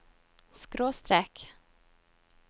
skråstrek